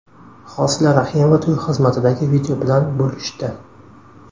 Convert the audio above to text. Hosila Rahimova to‘y xizmatidagi video bilan bo‘lishdi.